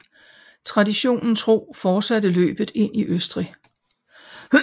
Traditionen tro fortsatte løbet ind i Østrig